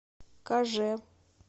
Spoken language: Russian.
кажэ